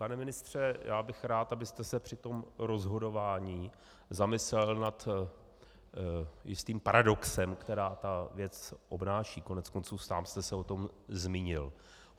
Pane ministře, já bych rád, abyste se při tom rozhodování zamyslel nad jistým paradoxem, který ta věc obnáší, koneckonců sám jste se o tom zmínil.